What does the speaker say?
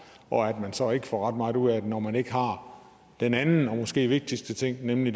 og at man så ikke får ret meget ud af det når man ikke har den anden og måske vigtigste ting med nemlig